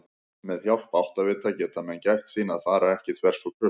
Með hjálp áttavita geta menn gætt sín að fara ekki þvers og kruss!